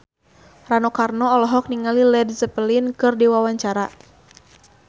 Rano Karno olohok ningali Led Zeppelin keur diwawancara